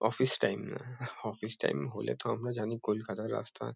Office time না। Office time হলে তো আমরা জানি কলকাতার রাস্তা।